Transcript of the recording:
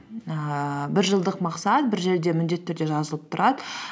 ііі бір жылдық мақсат бір жерде міндетті түрде жазылып тұрады